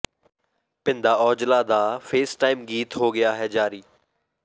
ਭਿੰਦਾ ਔਜਲਾ ਦਾ ਫੇਸਟਾਈਮ ਗੀਤ ਹੋ ਗਿਆ ਹੈ ਜਾਰੀ